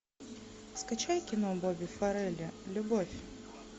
скачай кино бобби фаррелли любовь